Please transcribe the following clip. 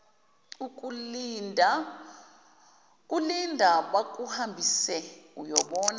kulinda bakuhambise uyobona